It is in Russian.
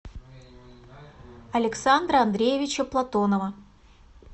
александра андреевича платонова